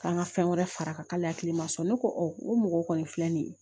K'an ka fɛn wɛrɛ fara a kan k'ale hakili man sɔn ne ko o mɔgɔ kɔni filɛ nin ye